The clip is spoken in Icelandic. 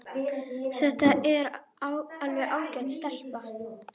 Þetta er alveg ágæt stelpa.